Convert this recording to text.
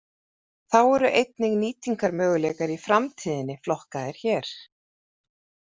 Þá eru einnig nýtingarmöguleikar í framtíðinni flokkaðir hér.